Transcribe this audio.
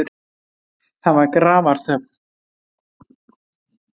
Það var grafarþögn.